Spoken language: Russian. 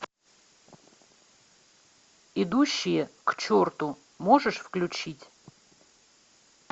идущие к черту можешь включить